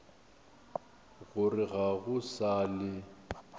gore ga go sa le